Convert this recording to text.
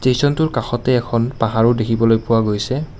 টেচনটোৰ কাষতে এখন পাহাৰো দেখিবলৈ পোৱা গৈছে।